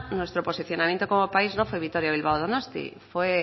nuestro posicionamiento como país no fue vitoria bilbao donostia fue